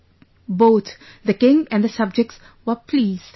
" Both, the king and the subjects were pleased